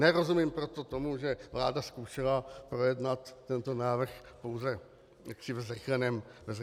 Nerozumím proto tomu, že vláda zkoušela projednat tento návrh pouze ve zrychleném čtení.